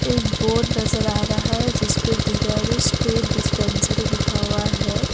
एक बोर्ड नजर आ रहा है। जिसपे डीगारू स्टेट डिस्पेंसरी लिखा हुआ है।